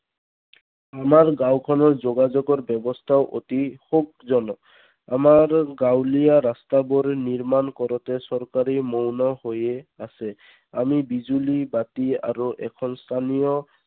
আমাৰ গাঁও খনৰ যোগাযোগৰ ব্যৱস্থাও অতি সুখজনক আমাৰ গাঁৱলীয়া ৰাস্তাবোৰ নিৰ্মাণ কৰোঁতে চৰকাৰে মৌন হয়েই আছে। আমি বিজুলী বাতি আৰু এখন স্থানীয়